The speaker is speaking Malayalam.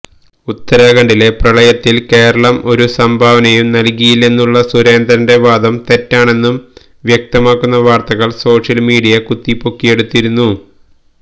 ഉത്തരാഘണ്ഡിലെ പ്രളയത്തില് കേരളം ഒരു സംഭാവനയും നല്കിയില്ലെന്നുള്ള സുരേന്ദ്രന്റെ വാദം തെറ്റാണെന്ന് വ്യക്തമാക്കുന്ന വാര്ത്തകള് സോഷ്യല് മീഡിയ കുത്തിപ്പൊക്കിയെടുത്തിരുന്നു